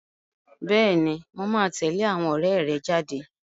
Bẹ́ẹ̀ni, mo máa tẹ̀lé àwọn ọ̀rẹ́ rẹ jáde.